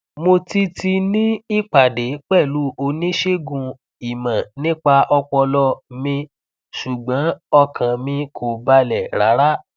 mo ti ti ní ìpàdé pẹlú oníṣègùn ìmọ nípa ọpọlọ mi ṣùgbọn ọkàn mi kò balẹ rárá